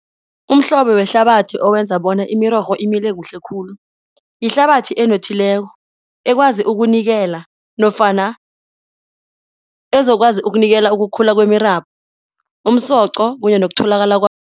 Umhlobo wehlabathi owenza bona imirorho imile kuhle khulu yihlabathi enothileko, ekwazi ukunikela nofana ezokwazi ukunikela ukukhula kwemirabhu umsoco kunye nokutholakala